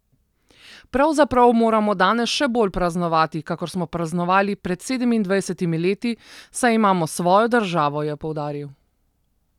Pravzaprav moramo danes še bolj praznovati, kakor smo praznovali pred sedemindvajsetimi leti, saj imamo svojo državo, je poudaril.